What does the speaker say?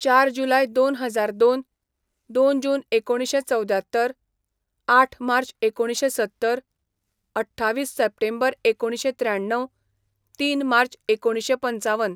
चार जुलाय दोन हजार दोन, दोन जून एकुणशें चवद्यात्तर, आठ मार्च एकुणंशे सत्तर, अठ्ठावीस सेप्टेंबर एकुणशें त्रेयाणव, तीन मार्च एकुणशें पंचावन.